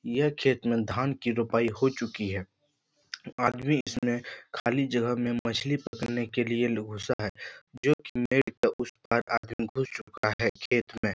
यह खेत में धान की रोपाई हो चुकी है आदमी इसमें खाली जगह में मछली पकडने के लिए घुसा है जो की नेट के उस पार आदमी घुस चूका है खेत में।